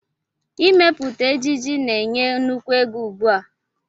Ịmepụta ejiji na-enye nnukwu ego ugbu a